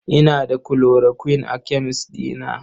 Ina da chloroquine a kemes ɗina.